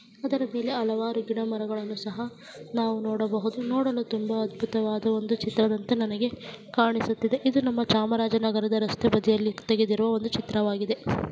ಅದರ ಮೇಲೆ ಹಲವಾರು ಗಿಡಮರಗಳನ್ನು ಸಹ ನಾವು ನೋಡಬಹುದು ನೋಡಲು ತುಂಬಾ ಅದ್ಭುತವಾದ ಚಿತ್ರದಂತೆ ನಮಗೆ ಕಾಣಿಸುತ್ತಿದೆ ಇದು ನಮ್ಮ ಚಾಮರಾಜನಗರದ ರಸ್ತೆ ಬದಿಯಲ್ಲಿ ತೆಗೆದಿರುವ ಒಂದು ಚಿತ್ರವಾಗಿದೆ.